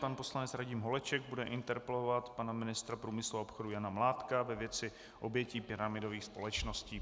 Pan poslanec Radim Holeček bude interpelovat pana ministra průmyslu a obchodu Jana Mládka ve věci obětí pyramidových společností.